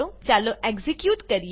ચાલો એક્ઝીક્યુટ કરીએ